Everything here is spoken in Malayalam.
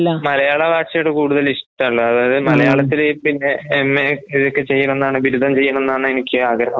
മലയാളഭാഷയോട് കൂടുതലിഷ്‌ട്ടൊള്ളത്. അതായത് മലയാളത്തില് പിന്നെ എംഎ ഇതൊക്കെചെയ്യണംന്നാണ് ബിരുധംചെയ്യണംന്നാണ് എനിക്കാഗ്രഹം.